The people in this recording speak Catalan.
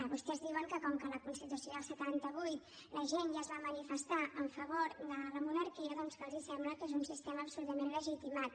vostès diuen que com que a la constitució del setanta vuit la gent ja es va manifestar a favor de la monarquia doncs que els sembla que és un sistema absolutament legitimat